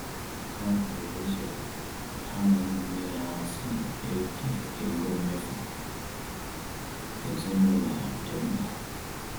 Ha bidoro ụzọ ha na ụmụnne ha si eke ego mmefu ezinaụlọ dị mkpa